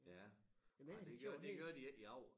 Ja ej det gør det gør de ikke i Agger